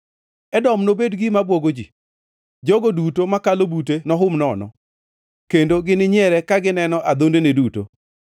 “Edom nobed gima bwogo ji; jogo duto makalo bute nohum nono, kendo gininyiere ka gineno adhondene duto.”